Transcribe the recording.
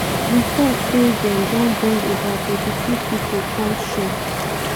reports say dem don bring about 32 pipo come shore.